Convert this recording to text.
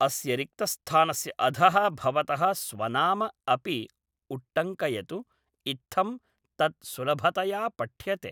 अस्य रिक्तस्थानस्य अधः भवतः स्वनाम अपि उट्टङ्कयतु, इत्थं तत् सुलभतया पठ्यते।